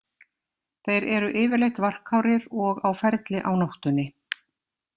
Þeir eru yfirleitt varkárir og á ferli á nóttunni.